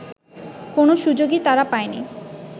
কোনো সুযোগই তারা পায়নি